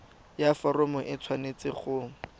ya foromo e tshwanetse go